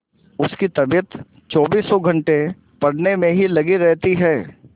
उसकी तबीयत चौबीसों घंटे पढ़ने में ही लगी रहती है